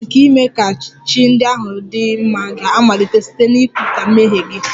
Usoro nke ime ka chi ndị ahụ dị mma ga-amalite site n'ikwupụta mmehie gị